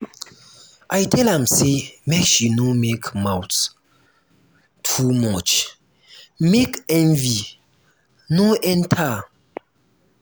i tell am sey make she no make mouth too much make envy no enter.